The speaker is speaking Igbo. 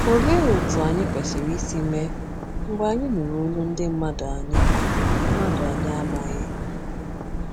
Olee otú anyị kwesịrị isi mee mgbe anyị nụrụ olu ndị mmadụ anyị mmadụ anyị amaghị?